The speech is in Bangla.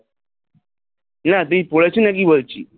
এ এতদিন পড়েছিলে কি বলছি?